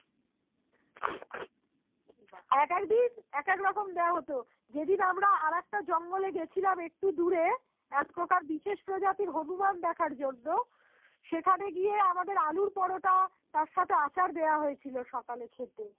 এক ফোটা বিশেষ প্রজাতির হনুমান দেখার জন্যে সেখানে গিয়ে আমাদের আলুর পরোটা তার সাথে আচার দেয়া হয়েছিল সকালে খেতে